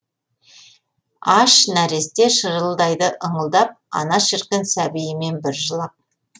аш нәресте шырылдайды ыңылдап ана шіркін сәбиімен бір жылап